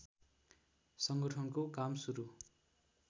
संगठनको काम सुरु